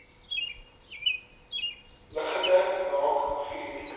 liggende naak guur